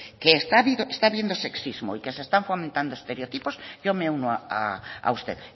que está habiendo sexismo y que se están fomentando estereotipos yo me uno a usted